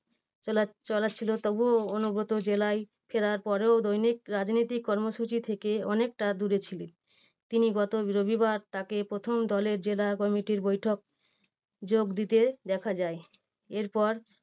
চালা~ চালাচ্ছিল তবুও অনুব্রত জেলায় ফেরার পরেও দৈনিক রাজনৈতিক কর্মসূচি থেকে অনেকটা দূরে ছিল। তিনি গত রবিবার তাকে প্রথম দলের জেলা committee র বৈঠক যোগ দিতে দেখা যায়। এরপর